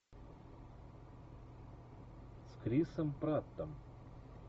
с крисом праттом